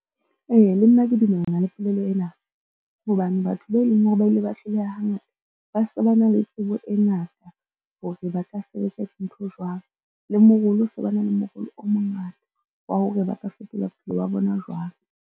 Ee, le nna ke dumellana le polelo ena, hobane batho ba e leng hore ba ile ba hloleha hangata ba se ba na le tsebo e ngata hore ba ka sebetsa dintho jwang. Le morolo se ba na le morwalo o mongata wa hore ba ka fetola bophelo ba bona jwang.